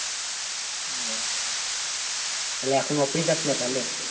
ও তাহলে এখন office যাস না তাহলে?